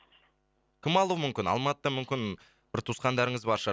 кім алуы мүмкін алматыда мүмкін бір туысқандарыңыз бар шығар